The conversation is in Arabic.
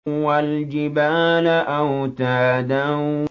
وَالْجِبَالَ أَوْتَادًا